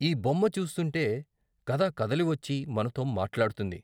ఈ బొమ్మ చూస్తుంటే కథ కదిలివచ్చి మనతో మాట్లాడుతుంది.